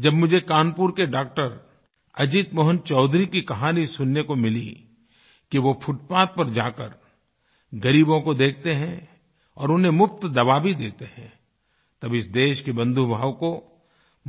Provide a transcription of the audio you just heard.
जब मुझे कानपुर के डॉक्टर अजीत मोहन चौधरी की कहानी सुनने को मिली कि वो फुटपाथ पर जाकर ग़रीबों को देखते हैं और उन्हें मुफ़्त दवा भी देते हैं तब इस देश के बन्धुभाव को